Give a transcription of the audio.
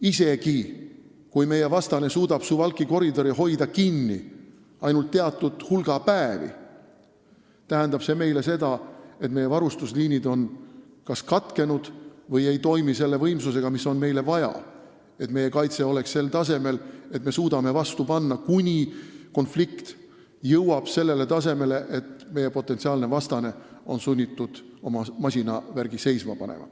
Isegi kui meie vastane suudab Suwalki koridori hoida kinni ainult teatud hulga päevi, tähendab see meile seda, et meie varustusliinid on kas katkenud või ei toimi selle võimsusega, mis on meile vaja sellisel tasemel kaitseks, et me suudame vastu panna, kuni konflikt jõuab sellele tasemele, kus meie potentsiaalne vastane on sunnitud oma masinavärgi seisma panema.